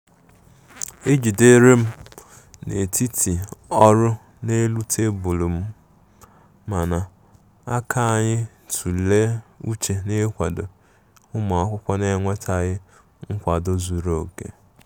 Ị jiderem n'etiti ọrū n'elu tebụlụ m, mana aka anyi tụle ụche n'ikwado ụmụakwọkwụ n'enwetaghi nkwado zuru oke.